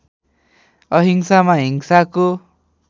अहिंसामा हिंसाको